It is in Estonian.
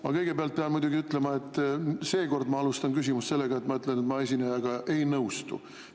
Ma kõigepealt pean muidugi ütlema, et seekord ma alustan küsimust sellega, et ma ütlen, et ma esinejaga ei nõustu.